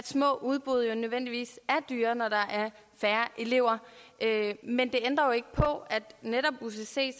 små udbud jo nødvendigvis er dyrere når der er færre elever men det ændrer ikke på at netop ucc